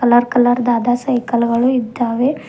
Colour ಕಲರ್ದಾದ cycle ಗಳು ಇದ್ದಾವೆ.